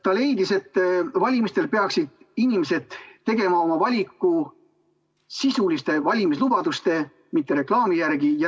Ta leidis, et valimistel peaksid inimesed tegema oma valiku sisuliste valimislubaduste, mitte reklaami järgi.